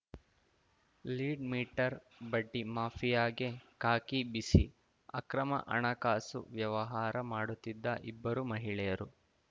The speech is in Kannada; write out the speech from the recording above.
ಲೀಡ್‌ಮೀಟರ್‌ ಬಡ್ಡಿ ಮಾಫಿಯಾಗೆ ಖಾಕಿ ಬಿಸಿ ಅಕ್ರಮ ಹಣಕಾಸು ವ್ಯವಹಾರ ಮಾಡುತ್ತಿದ್ದ ಇಬ್ಬರು ಮಹಿಳೆಯರು